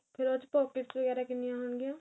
ਫੇਰ ਉਸ ਚ pockets ਵਗੈਰਾ ਕਿੰਨੀਆਂ ਹੋਣ ਗਿਆ